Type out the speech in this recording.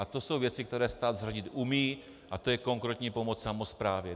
A to jsou věci, které stát zařídit umí, a to je konkrétní pomoc samosprávě.